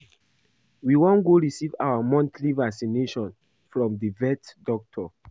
We wan go receive our monthly vaccination from the vet doctor